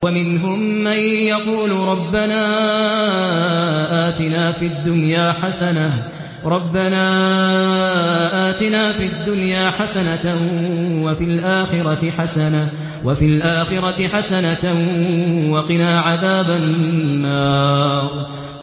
وَمِنْهُم مَّن يَقُولُ رَبَّنَا آتِنَا فِي الدُّنْيَا حَسَنَةً وَفِي الْآخِرَةِ حَسَنَةً وَقِنَا عَذَابَ النَّارِ